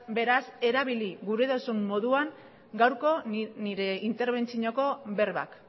beraz erabili gura duzun moduan gaurko nire interbentzioko berbak